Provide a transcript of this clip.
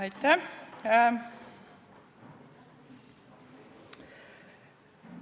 Aitäh!